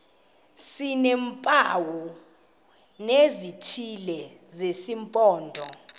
sineempawu ezithile zesimpondo